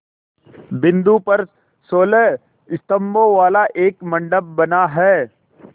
बिंदु पर सोलह स्तंभों वाला एक मंडप बना है